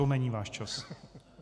To není váš čas.